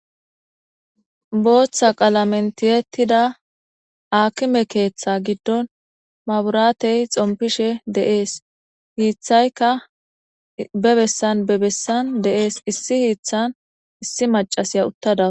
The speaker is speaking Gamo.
Booththa qalamentiyettida akime keeththa giddon maburaatey xompishe deees hiithayka bebessan bebessan deees issi hiithan issi macasiya uttada